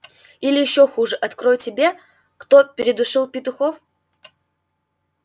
или ещё хуже открою тебе кто передушил петухов